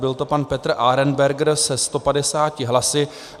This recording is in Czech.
Byl to pan Petr Arenberger se 150 hlasy.